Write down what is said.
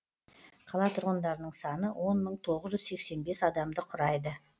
қала тұрғындарының саны он мың тоғыз жүз сексен бес адамды құрайды